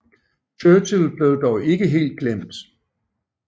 Churchill blev dog ikke helt glemt